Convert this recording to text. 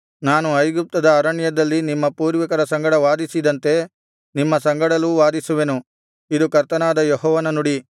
ನಾನು ಐಗುಪ್ತದ ಅರಣ್ಯದಲ್ಲಿ ನಿಮ್ಮ ಪೂರ್ವಿಕರ ಸಂಗಡ ವಾದಿಸಿದಂತೆ ನಿಮ್ಮ ಸಂಗಡಲೂ ವಾದಿಸುವೆನು ಇದು ಕರ್ತನಾದ ಯೆಹೋವನ ನುಡಿ